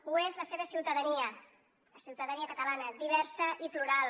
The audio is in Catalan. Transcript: ho és la seva ciutadania la ciutadania catalana diversa i plural